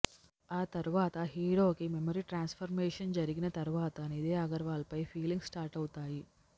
ఆ తర్వాత హీరోకి మెమరీ ట్రాన్స్ఫర్మేషన్ జరిగిన తర్వాత నిధి అగర్వాల్పై ఫీలింగ్స్ స్టార్ట్ అవుతాయి